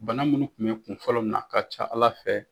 Bana minnu kun be kun fɔlɔ minɛ a ka ca ala fɛ